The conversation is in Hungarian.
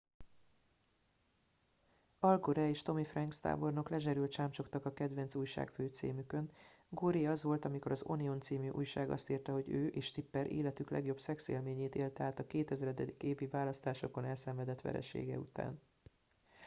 al gore és tommy franks tábornok lezserül csámcsogtak a kedvenc újságfőcímükön goré az volt amikor az onion c. újság azt írta hogy ő és tipper életük legjobb szexélményét élte át a 2000. évi választásokon elszenvedett veresége után